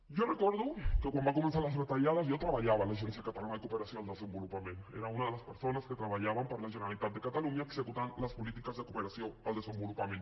jo recordo que quan van començar les retallades jo treballava a l’agència catalana de cooperació al desenvolupament era una de les persones que treballàvem per la generalitat de catalunya executant les polítiques de cooperació al desenvolupament